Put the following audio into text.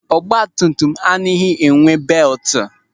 Oche ọgbatumtum anaghị enwe belti.